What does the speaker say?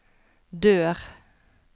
dør